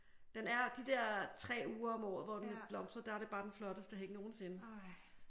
Den er de der 3 uger om året hvor den blomstrer der er det bare den flotteste hæk nogensinde